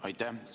Aitäh!